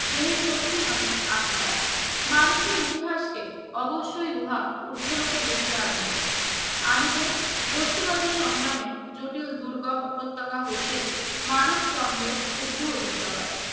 দেহের শক্তি নয় আত্মার মানুষের ইতিহাসকে অবশ্যই উহা উর্ধ্বলোকে বহিয়া নেবে আনিবে বস্তুবাদী সংগ্রামের জটিল দুর্গম উপত্যকা হয়েছে মানুষ দ্বন্দ্বের উর্দ্ধ আদিত্যকে